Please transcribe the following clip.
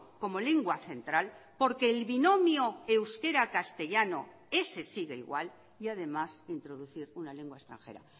como lengua central porque el binomio euskera castellano ese sigue igual y además introducir una lengua extranjera